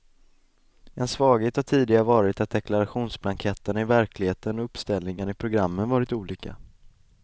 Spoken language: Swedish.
En svaghet har tidigare varit att deklarationsblanketterna i verkligheten och uppställningarna i programmen varit olika.